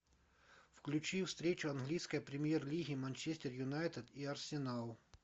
включи встречу английской премьер лиги манчестер юнайтед и арсенал